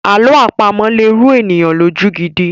Àlọ́ àpamọ̀ lè rú ènìyàn lójú gidi.